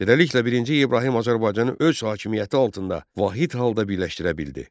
Beləliklə, birinci İbrahim Azərbaycanı öz hakimiyyəti altında vahid halda birləşdirə bildi.